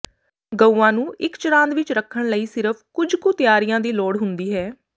ਗਊਆਂ ਨੂੰ ਇਕ ਚਰਾਂਦ ਵਿਚ ਰੱਖਣ ਲਈ ਸਿਰਫ ਕੁਝ ਕੁ ਤਾਰਿਆਂ ਦੀ ਲੋੜ ਹੁੰਦੀ ਹੈ